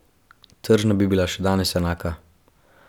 Tržna bi bila še danes enaka.